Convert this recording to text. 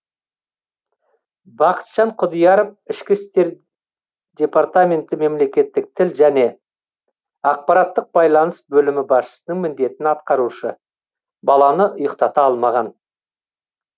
бақытжан құдияров ішкі істер департаменті мемлекеттік тіл және ақпараттық байланыс бөлімі басшысының міндетін атқарушы баланы ұйықтата алмаған